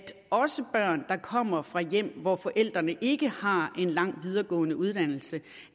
også børn der kommer fra hjem hvor forældrene ikke har en lang videregående uddannelse